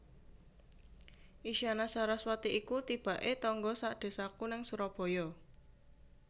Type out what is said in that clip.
Isyana Saraswati iku tibak e tangga sak desaku nang Surabaya